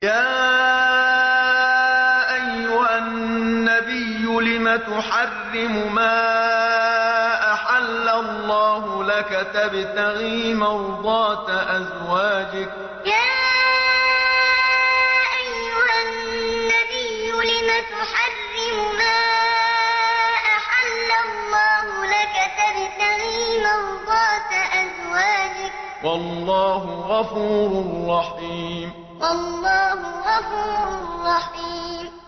يَا أَيُّهَا النَّبِيُّ لِمَ تُحَرِّمُ مَا أَحَلَّ اللَّهُ لَكَ ۖ تَبْتَغِي مَرْضَاتَ أَزْوَاجِكَ ۚ وَاللَّهُ غَفُورٌ رَّحِيمٌ يَا أَيُّهَا النَّبِيُّ لِمَ تُحَرِّمُ مَا أَحَلَّ اللَّهُ لَكَ ۖ تَبْتَغِي مَرْضَاتَ أَزْوَاجِكَ ۚ وَاللَّهُ غَفُورٌ رَّحِيمٌ